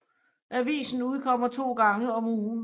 Avisen udkommer to gange om ugen